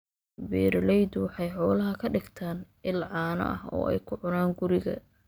Beeraleydu waxay xoolaha ka dhigtaan il caano ah oo ay ka cunaan guriga.